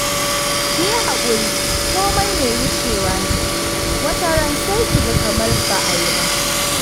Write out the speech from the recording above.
Kiyi hakuri komai mai wucewa ne, wata ran sai ki ga kamar ba a yi ba